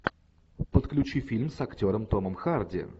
подключи фильм с актером томом харди